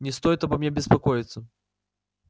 не стоит обо мне беспокоиться